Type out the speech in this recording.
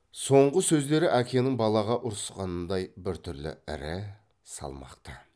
соңғы сөздері әкенің балаға ұрысқанындай біртүрлі ірі салмақты